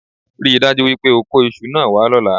Rí i dájú wípé o kó isu náà wá lọ́la